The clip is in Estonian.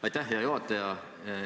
Aitäh, hea juhataja!